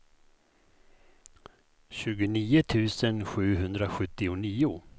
tjugonio tusen sjuhundrasjuttionio